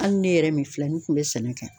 Ali ne yɛrɛ min filɛ nin kun be sɛnɛ kɛ